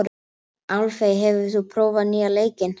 Álfey, hefur þú prófað nýja leikinn?